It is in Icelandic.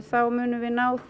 þá munum við ná